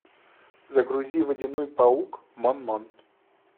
загрузи водяной паук мон мон